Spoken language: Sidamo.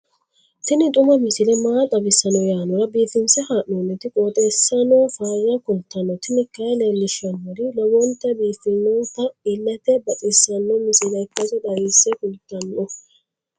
tini xuma misile maa xawissanno yaannohura biifinse haa'noonniti qooxeessano faayya kultanno tini kayi leellishshannori lowonta biiffinota illete baxissanno misile ikkase xawisse kultanno.